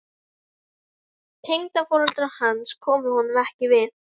Tengdaforeldrar hans komu honum ekki við.